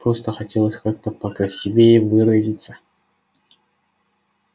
просто хотелось как-то покрасивее выразиться